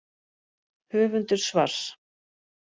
Höfundur svars.